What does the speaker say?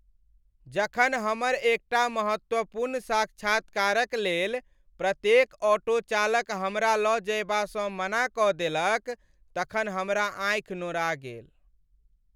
जखन हमर एकटा महत्वपूर्ण साक्षात्कारक लेल प्रत्येक ऑटो चालक हमरा लऽ जएबासँ मना कऽ देलक तखन हमरा आँखि नोरा गेल।